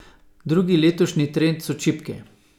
Drugi letošnji trend so čipke.